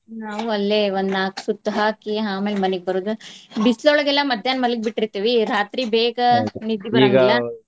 ನಾವು ಅಲ್ಲೆ ಒಂದ್ ನಾಕ್ ಸುತ್ತ ಹಾಕಿ ಆಮೇಲೆ ಮನಿಗ್ ಬರೋದ್. ಬಿಸ್ಲೊಳಗೆಲ್ಲಾ ಮದ್ಯಾಹ್ನ ಮಲ್ಗಿ ಬಿಟ್ಟಿರ್ತಿವಿ ರಾತ್ರಿ ಬೇಗ ನಿದ್ದಿ ಬರಾಂಗಿಲ್ಲಾ.